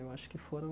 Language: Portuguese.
Eu acho que foram